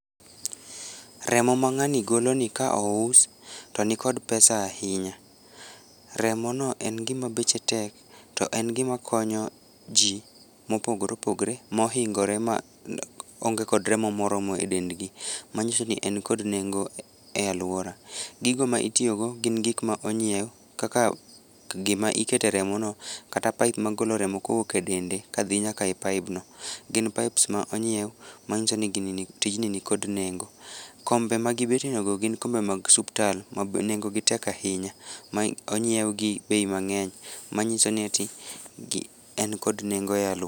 Remo ma ng'ani golo ni ka ous to nikod pesa ahinya, remo no en gima beche tek to en gima konyo jii mopogore opogore mohingore ma onge kod remo moromo e dendgi manyiso ni en kod nengo e aluora. Gigo mitiyo go gin gik ma ongiew, kaka gima ikete remo no kata pipe magolo remo kowuok e dende kadhi nyaka e pipe no, Gin pipes ma onyiew manyiso ni tijni nikod nengo. Kombe magibede go gin kombe mag suptal ma nengo gi tek ahinya ma onyiew gi bei mangeny mangiso ni eti en kod nengo e aluora